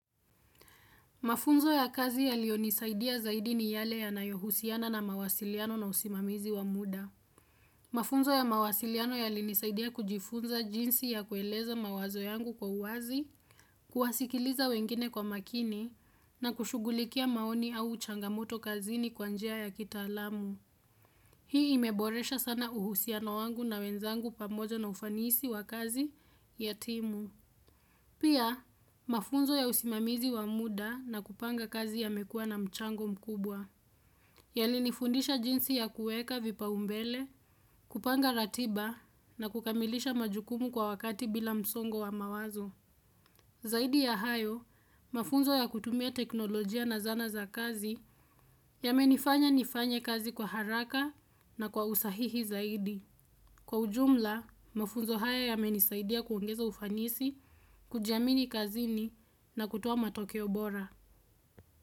Mafunzo ya kazi yaliyonisaidia zaidi ni yale yanayohusiana na mawasiliano na usimamizi wa muda. Mafunzo ya mawasiliano yalinisaidia kujifunza jinsi ya kueleza mawazo yangu kwa uwazi, kuwasikiliza wengine kwa makini na kushughulikia maoni au changamoto kazini kwa njia ya kitaalamu. Hii imeboresha sana uhusiano wangu na wenzangu pamoja na ufanisi wa kazi ya timu. Pia, mafunzo ya usimamizi wa muda na kupanga kazi yamekuwa na mchango mkubwa. Yalinifundisha jinsi ya kuweka vipaumbele, kupanga ratiba na kukamilisha majukumu kwa wakati bila msongo wa mawazo. Zaidi ya hayo, mafunzo ya kutumia teknolojia na zana za kazi yamenifanya nifanye kazi kwa haraka na kwa usahihi zaidi. Kwa ujumla, mafunzo haya yamenisaidia kuongeza ufanisi, kujiamini kazini na kutoa matokeo bora.